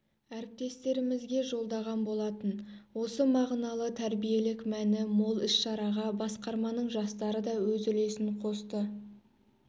әріптестерімізге жолдаған болатын осы мағыналы тәрбиелік мәні мол іс-шараға басқарманың жастары да өз үлесін қосты